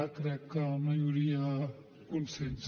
a crec que no hi hauria consens